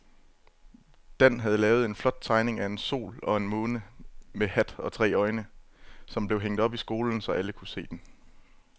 Dan havde lavet en flot tegning af en sol og en måne med hat og tre øjne, som blev hængt op i skolen, så alle kunne se den.